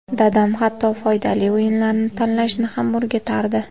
Dadam hatto foydali o‘yinlarni tanlashni ham o‘rgatardi.